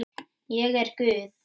Ég er guð.